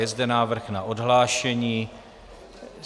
Je zde návrh na odhlášení.